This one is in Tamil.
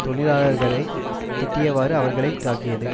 தொழிலாளர்களை திட்டியவாறு அவர்களை தாக்கியது